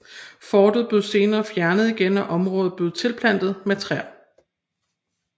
Fortet blev senere fjernet igen og området blev tilplantet med træer